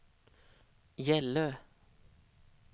Gällö